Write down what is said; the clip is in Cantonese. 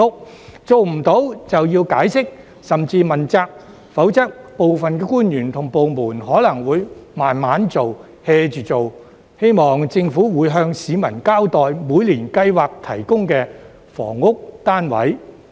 如果做不到便要解釋，甚至問責，否則部分官員及部門可能會慢慢做、"hea" 着做，希望政府會向市民交代每年計劃提供的房屋單位。